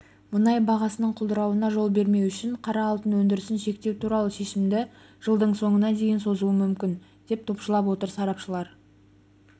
мұнай бағасының құлдырауына жол бермеу үшін қара алтын өндірісін шектеу туралы шешімді жылдың соңына дейін созуы мүмкін деп топшылап отыр сарапшылар